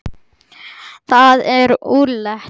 Það er úrelt.